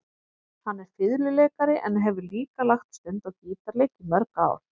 Hann er fiðluleikari en hefur líka lagt stund á gítarleik í mörg ár.